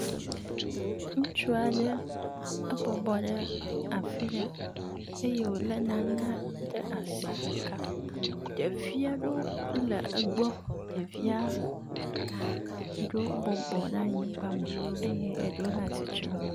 Ŋutsu aɖe ebɔbɔ ɖe afi ɖe eye wo le nane ɖe asi ɖeka. Ɖevi aɖewo wo le egbɔ ɖevia ɖo wo bɔbɔ ɖe anyigba me eye ɖewo le atsitrenu.